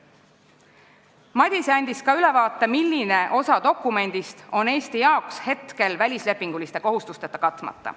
Madise andis ka ülevaate, milline osa dokumendist on Eesti puhul praegu välislepinguliste kohustustega katmata.